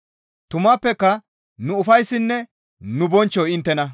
Tumappeka nu ufayssinne nu bonchchoy inttena.